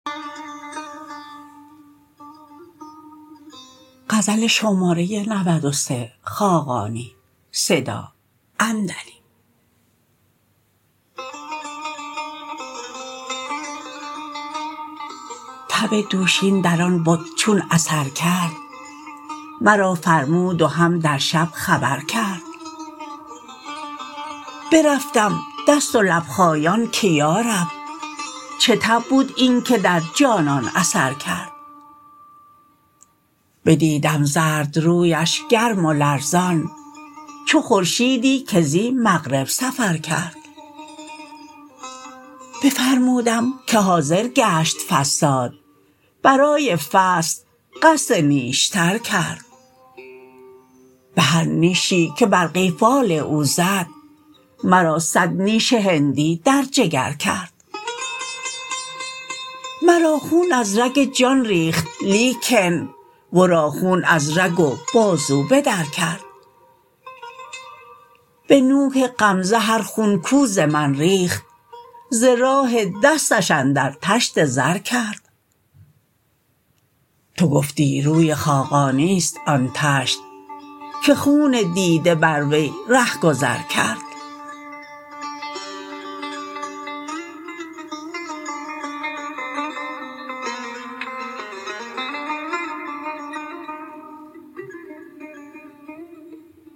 تب دوشین در آن بت چون اثر کرد مرا فرمود و هم در شب خبر کرد برفتم دست و لب خایان که یارب چه تب بود اینکه در جانان اثر کرد بدیدم زردرویش گرم و لرزان چو خورشیدی که زی مغرب سفر کرد بفرمودم که حاضر گشت فصاد برای فصد قصد نیشتر کرد بهر نیشی که بر قیفال او زد مرا صد نیش هندی در جگر کرد مرا خون از رگ جان ریخت لیکن ورا خون از رگ و بازو بدر کرد به نوک غمزه هر خون کو ز من ریخت ز راه دستش اندر طشت زر کرد تو گفتی روی خاقانی است آن طشت که خون دیده بر وی رهگذر کرد